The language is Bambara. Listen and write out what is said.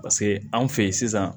Paseke anw fe yen sisan